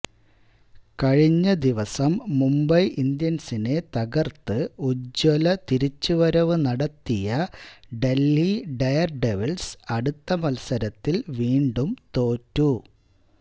കഴിഞ്ഞ ദിവസം മുംബൈ ഇന്ത്യന്സിനെ തകര്ത്ത് ഉജ്ജ്വല തിരിച്ചുവരവ് നടത്തിയ ദല്ഹി ഡെയര് ഡെവിള്സ് അടുത്ത മത്സരത്തില് വീണ്ടും തോറ്റു